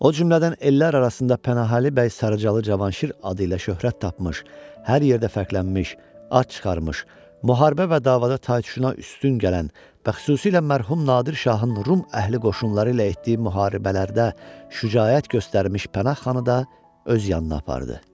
O cümlədən ellər arasında Pənahəli bəy Sarıcəli Cavanşir adı ilə şöhrət tapmış, hər yerdə fərqlənmiş, ad çıxarmış, müharibə və davada taytuşdan üstün gələn və xüsusilə mərhum Nadir Şahın Rum əhli qoşunları ilə etdiyi müharibələrdə şücaət göstərmiş Pənah xanı da öz yanına apardı.